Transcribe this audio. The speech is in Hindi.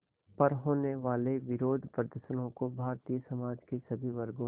पर होने वाले विरोधप्रदर्शनों को भारतीय समाज के सभी वर्गों